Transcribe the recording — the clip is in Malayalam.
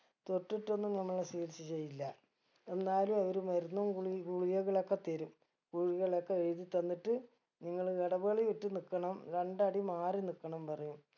തൊട്ടിട്ടൊന്നും നമ്മളെ ചികിത്സ ചെയ്യില്ല എന്നാലും അവര് മരുന്നും ഗുളി ഗുളികകളൊക്കെ തരും ഗുളികകളൊക്കെ എഴുതി തന്നിട്ട് നിങ്ങള് ഇടവേളയിട്ട് നിക്കണം രണ്ടടി മാറി നിക്കണം പറയും